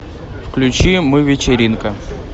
включи мы вечеринка